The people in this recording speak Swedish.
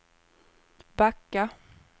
backa